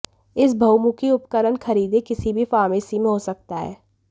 इस बहुमुखी उपकरण खरीदें किसी भी फार्मेसी में हो सकता है